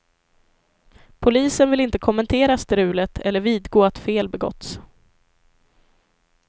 Polisen vill inte kommentera strulet, eller vidgå att fel begåtts.